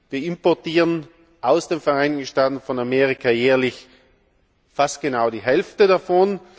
Wir importieren aus den Vereinigten Staaten von Amerika jährlich fast genau die Hälfte davon.